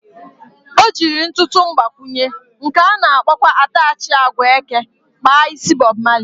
O jiri ntụtụ mgbakwụnye, nke ana akpọkwa atachị agwa eke kpa isi Bọb Mali